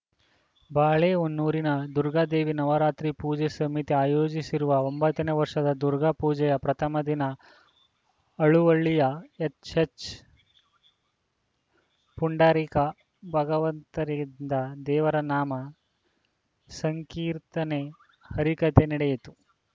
ಬಾಳೆಹೊನ್ನೂರಿನ ದುರ್ಗಾದೇವಿ ನವರಾತ್ರಿ ಪೂಜೆ ಸಮಿತಿ ಆಯೋಜಿಸಿರುವ ಒಂಬತ್ತನೇ ವರ್ಷದ ದುರ್ಗಾ ಪೂಜೆಯ ಪ್ರಥಮ ದಿನ ಹಳುವಳ್ಳಿಯ ಎಚ್‌ಎಚ್‌ಪುಂಡರೀಕ ಭಾಗವತರಿಂದ ದೇವರ ನಾಮ ಸಂಕೀರ್ತನೆ ಹರಿಕಥೆ ನಡೆಯಿತು